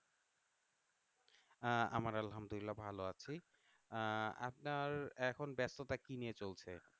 আহ আমার আলহামদুলিল্লাহ ভালো আছি আহ আপনার এখন ব্যস্ততা কী নিয়ে চলছে?